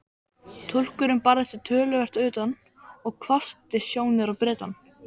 Túlkurinn barði sig töluvert utan og hvessti sjónir á Bretann.